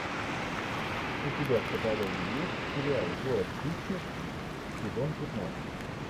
у тебя в каталоге есть сериал город хищниц сезон пятнадцать